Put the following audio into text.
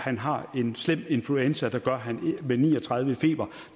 har en slem influenza med ni og tredive i feber